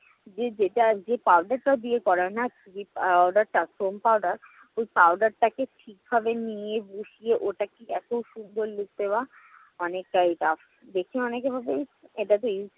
যে যেটা যে powder টা দিয়ে করায় না আহ foam powder ওই powder টাকে ঠিকভাবে নিয়ে বসিয়ে ওটাকে এতো সুন্দর look দেওয়া অনেকটাই tough দেখে অনেকে বলবে ইস্ এটাতো easy